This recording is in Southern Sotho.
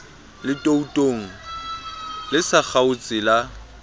letootong le sa kgaotseng la